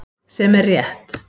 Sem er rétt.